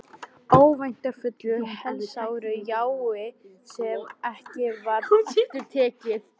Örvæntingarfullu, helsáru jái sem ekki varð aftur tekið.